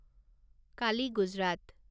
Kali Gujarat